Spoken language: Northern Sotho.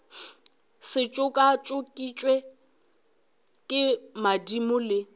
se tšokatšokišwe ke madimo le